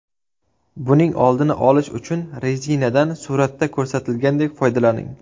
Buning oldini olish uchun rezinadan suratda ko‘rsatilgandek foydalaning.